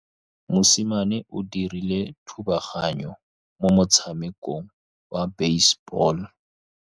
Mosimane o dirile thubaganyô mo motshamekong wa basebôlô.